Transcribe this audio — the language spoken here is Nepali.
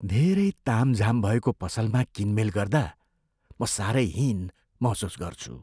धेरै तामझाम भएको पसलमा किनमेल गर्दा म साह्रै हीन महसुस गर्छु।